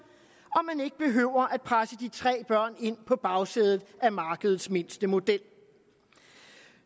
og man ikke behøver at presse de tre børn ind på bagsædet af markedets mindste model